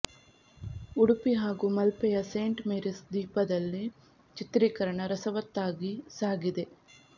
ಉಡುಪಿ ಹಾಗೂ ಮಲ್ಪೆಯ Saint Mary's ದ್ವೀಪದಲ್ಲಿ ಚಿತ್ರೀಕರಣ ರಸವತ್ತಾಗಿ ಸಾಗಿದೆ